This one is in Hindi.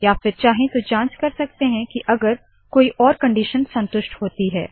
या फिर चाहे तो जाँच कार सकते है की अगर कोई और कंडिशन संतुष्ट होती है